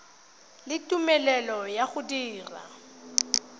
le tumelelo ya go dira